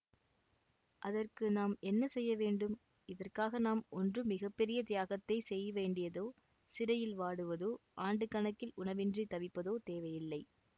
அதற்கு நாம் என்ன செய்ய வேண்டும் இதற்காக நாம் ஒன்றும் மிக பெரிய தியாகத்தைச் செய்ய வேண்டியதோ சிறையில் வாடுவதோ ஆண்டுக்கணக்கில் உணவின்றித் தவிப்பதோ தேவையில்லை